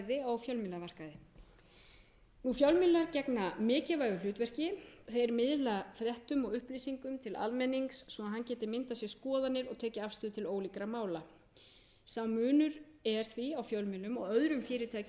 og fjölræði á fjölmiðlamarkaði fjölmiðlar gegna mikilvægu hlutverki þeir miðla fréttum og upplýsingum til almennings svo að hann geti myndað sér skoðanir og tekið afstöðu til ólíkra mála sá munur er því á fjölmiðlum og öðrum fyrirtækjum á markaði að